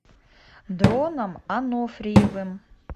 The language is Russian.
дроном ануфриевым